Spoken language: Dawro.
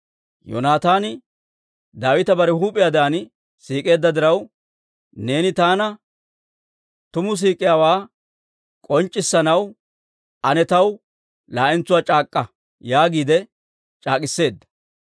Yoonataani Daawita bare huup'iyaadan siik'eedda diraw, «Neeni taana tumu siik'iyaawaa k'onc'c'issanaw ane taw laa'entsuwaa c'aak'k'a» yaagiide c'aak'k'iseedda.